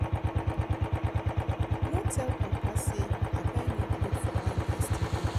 No tell papa say I buy new cloth for am yesterday